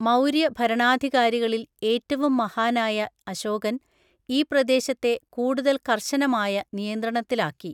മൗര്യ ഭരണാധികാരികളിൽ ഏറ്റവും മഹാനായ അശോകൻ, ഈ പ്രദേശത്തെ കൂടുതല്‍ കര്‍ശനമായ നിയന്ത്രണത്തിലാക്കി.